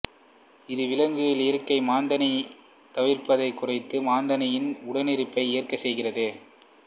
இது விலங்குகள் இயற்கையாக மாந்தனைத் தவிர்ப்பதைக் குறைத்து மாந்தனின் உடனிருப்பை ஏற்க செய்கிறது